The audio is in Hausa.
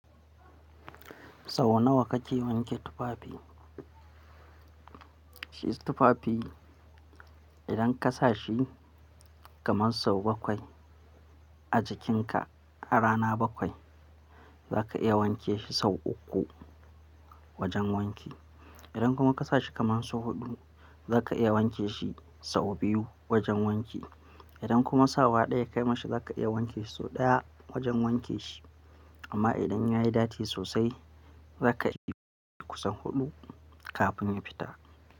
Sau nawa kake wanke tufafi? Shi tufafi idan ka sa shi kaman sau bakwai a jikinka a rana bakwai za ka iya wanke shi sau uku wajen wanki. Idan kuma ka sa shi kaman sau huɗu za ka iya wanke shi sau biyu wajen wanki. Idan kuma sawa ɗaya ka yi ma shi za ka iya wanke sau ɗaya wajen wanke shi. Amma idan ya yi datti sosai za ka yi kusan huɗu kafin ya fita.